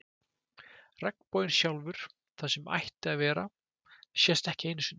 Regnboginn sjálfur, það sem ætti að vera, sést ekki einu sinni.